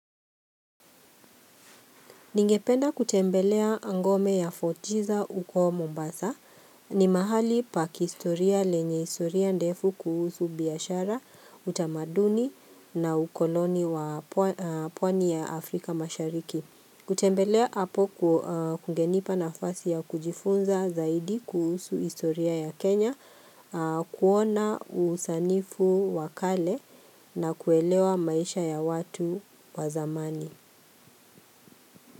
Ningependa kutembelea ngome ya fort jesus uko Mombasa ni mahali pakihistoria lenye istoria ndefu kuhusu biashara, utamaduni na ukoloni wa pwani ya Afrika mashariki. Kutembelea hapo kungenipa na fasi ya kujifunza zaidi kuhusu istoria ya Kenya, kuona usanifu wakale na kuelewa maisha ya watu wazamani.